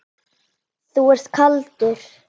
Þú ert kaldur!